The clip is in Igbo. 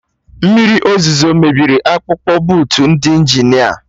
Mmiri ọzụzo mebiri akpụkpụ bootu ndị Injinia